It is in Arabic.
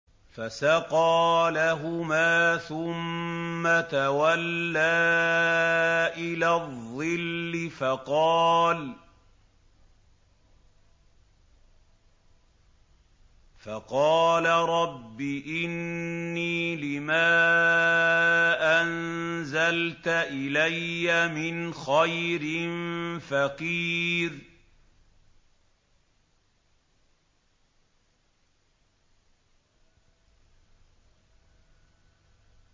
فَسَقَىٰ لَهُمَا ثُمَّ تَوَلَّىٰ إِلَى الظِّلِّ فَقَالَ رَبِّ إِنِّي لِمَا أَنزَلْتَ إِلَيَّ مِنْ خَيْرٍ فَقِيرٌ